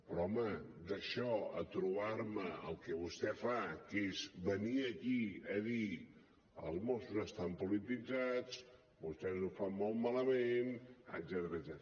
però home d’això a trobar me el que vostè fa que és venir aquí a dir els mossos estan polititzats vostès ho fan molt malament etcètera